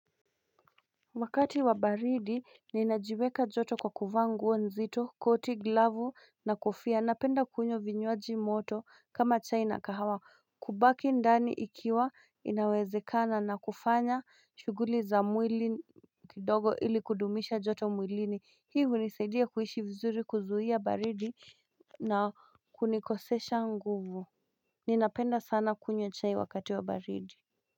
Wakati wa baridi ninajiweka joto kwa kuvaa nguo nzito koti glavu na kofia napenda kunywa vinywaji moto kama chai na kahawa kubaki ndani ikiwa inawezekana na kufanya shuguli za mwili kidogo ili kudumisha joto mwilini hi hunisaidia kuishi vizuri kuzuia baridi na kunikosesha nguvu Ninapenda sana kunywa chai wakati wa baridi.